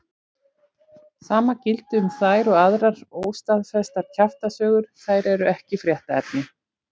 Sama gildir um þær og aðrar óstaðfestar kjaftasögur, þær eru ekki fréttaefni.